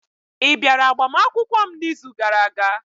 Ị bịara agbamakwụkwọ m n'izu gara-aga?